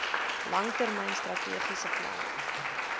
langtermyn strategiese plan